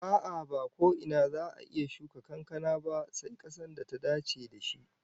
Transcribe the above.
A'a, ba ko ina za'a iya shuka kankana ba sai kasar da ta dace da shi